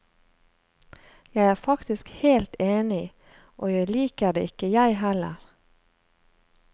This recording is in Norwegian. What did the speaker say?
Jeg er faktisk helt enig, og jeg liker det ikke jeg heller.